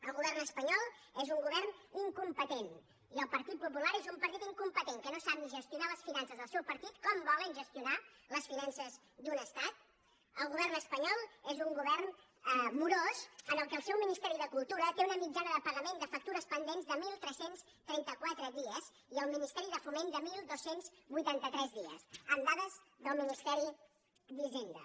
el govern espanyol és un govern incompetent i el partit popular és un partit incompetent que no sap ni gestionar les finances del seu partit com volen gestionar les finances d’un estat el govern espanyol és un govern morós en què el seu ministeri de cultura té una mitjana de pagament de factures pendents de tretze trenta quatre dies i el ministeri de foment de dotze vuitanta tres dies amb dades del ministeri d’hisenda